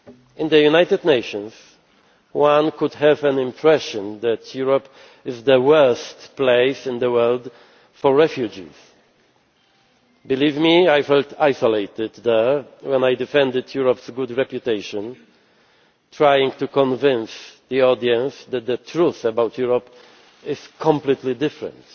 In the United Nations, one could have the impression that Europe is the worst place in the world for refugees. Believe me, I felt isolated there when I defended Europe's good reputation, trying to convince the audience that the truth about Europe is completely different.